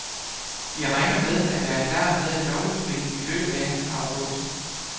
De regner med at være klar med et lovudspil i løbet af august.